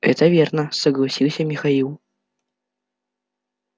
это верно согласился михаил